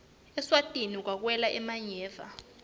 eswatini kagwele emanyeva